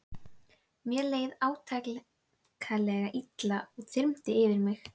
Mér leið átakanlega illa og það þyrmdi yfir mig.